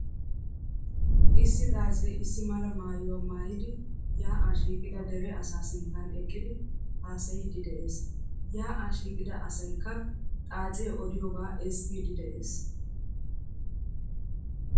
Issi xaacee issi mala maayuwaa maayidi yaa"aa shiiqida dere asaa sinttan eqqidi haasayiiddi de"ees. Yaa"aa shiiqida asaykka xaacee odiyogaa ezggiiddi de"ees.